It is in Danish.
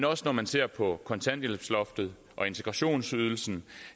også når man ser på kontanthjælpsloftet og integrationsydelsen